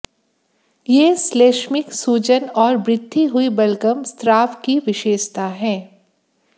यह श्लैष्मिक सूजन और वृद्धि हुई बलगम स्राव की विशेषता है